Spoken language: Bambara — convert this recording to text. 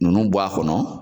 Nunnu bɔ a kɔnɔ